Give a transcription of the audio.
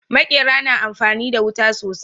Maƙera na amfani da wuta sosai